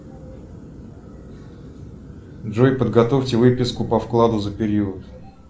джой подготовьте выписку по вкладу за период